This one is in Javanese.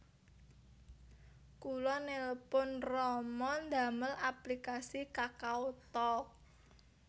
Kula nelpon rama ndamel aplikasi KakaoTalk